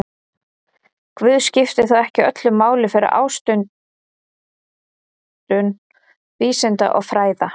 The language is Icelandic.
Guð skipti þó ekki öllu máli fyrir ástundun vísinda og fræða.